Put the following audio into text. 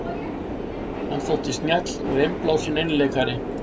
Hann þótti snjall og innblásinn einleikari.